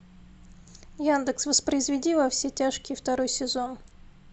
яндекс воспроизведи во все тяжкие второй сезон